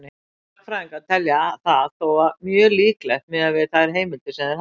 Sagnfræðingar telja það þó mjög líklegt miðað við þær heimildir sem þeir hafa.